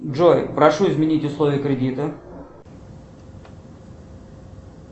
джой прошу изменить условия кредита